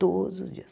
Todos os dias.